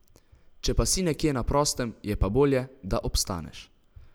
Če pa si nekje na prostem, je pa bolje, da obstaneš.